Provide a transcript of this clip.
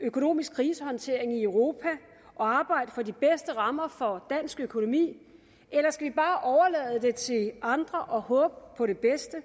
økonomisk krisehåndtering i europa og arbejde for de bedste rammer for dansk økonomi eller skal vi bare overlade det til andre og håbe på det bedste